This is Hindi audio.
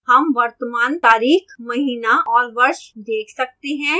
हम वर्तमान तारीख महीना और वर्ष देख सकते हैं